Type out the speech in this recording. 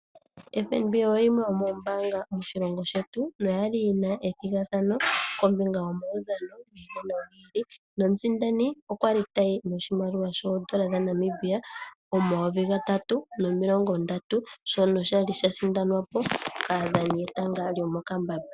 FNB oyimwe yomoombanga moshilongo shetu noya li yina ethigathano kombinga yomaudhano ngono gi ili, nomusindani okwa li ayi noshimaliwa shoondola dhaNamibia omayovi gatatu nomilongo ndatu, shono shali sha sindanwa po kaadhani yetanga lyomokambamba.